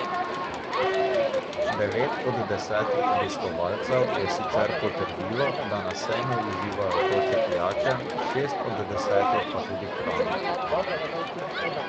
Devet od desetih obiskovalcev je sicer potrdilo, da na sejmu uživajo vroče pijače, šest od desetih pa tudi hrano.